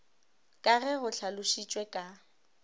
ka ge go hlalošitšwe ka